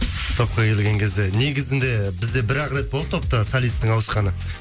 топқа келген кезде негізінде бізде бір ақ рет болды топта солисттің ауысқаны